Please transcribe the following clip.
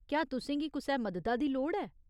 क्या तुसें गी कुसै मददा दी लोड़ ऐ?